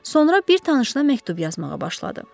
Sonra bir tanışına məktub yazmağa başladı.